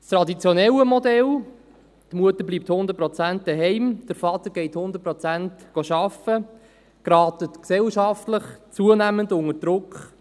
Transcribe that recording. Das traditionelle Modell – die Mutter bleibt zu 100 Prozent zu Hause, der Vater geht zu 100 Prozent arbeiten – gerät gesellschaftlich zunehmend unter Druck.